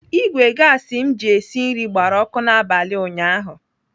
Ìgwè gasi m ji esi nri gbara ọkụ n'abalị ụnyaahụ.